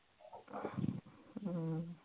ਅਮ